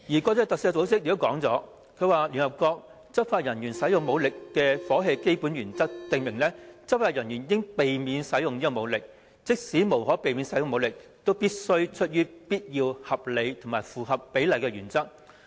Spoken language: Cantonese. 國際特赦組織也說過，聯合國《執法人員使用武力和火器的基本原則》訂明，執法人員應避免使用武力，即使無可避免要使用武力，也必須出於必要、合理和符合比例的原則。